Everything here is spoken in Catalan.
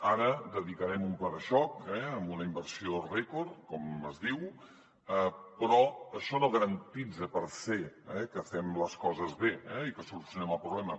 ara dedicarem un pla de xoc amb una inversió rècord com es diu però això no garanteix per se que fem les coses bé i que solucionem el problema